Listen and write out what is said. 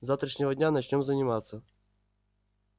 с завтрашнего дня начнём заниматься